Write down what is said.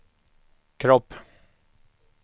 kropp